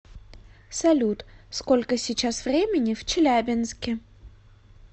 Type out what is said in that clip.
салют сколько сейчас времени в челябинске